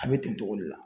A bɛ ten togo de la